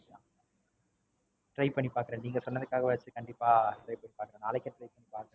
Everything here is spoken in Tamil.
Try பண்ணி பாக்கறேன். நீங்க சொன்னதுக்காகவாது கண்டிப்பா Try பண்ணி பாக்கறேன். நாளைக்கே Try பண்ணி பாக்கறேன்.